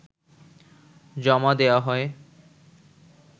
জমা দেয়া হয়